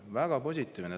Väga positiivne!